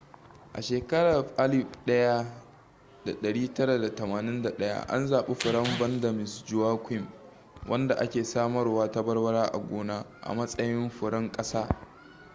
a shekarar 1981 an zaɓi furen vanda miss joaquim wanda ake samarwa ta barbara a gona a matsayin furen ƙasa